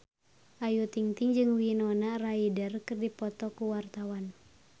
Ayu Ting-ting jeung Winona Ryder keur dipoto ku wartawan